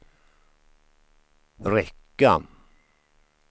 räcka